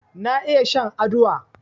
Na iya shan aduwa